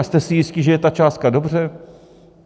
A jste si jistí, že je ta částka dobře?